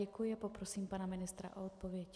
Děkuji a poprosím pana ministra o odpověď.